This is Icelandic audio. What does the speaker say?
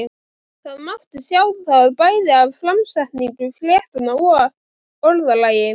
Það mátti sjá það bæði af framsetningu fréttanna og orðalagi.